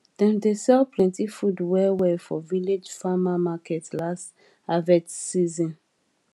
dem sell plenty food well well for village farmer market last harvest season